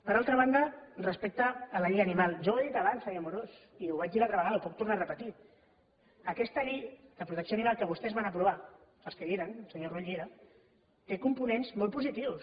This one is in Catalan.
per altra banda respecte a la llei dels animals jo ho he dit abans senyor amorós i ho vaig dir l’altra vegada ho puc tornar a repetir aquesta llei de protecció dels animals que vostès van aprovar els que hi eren el senyor rull hi era té components molt positius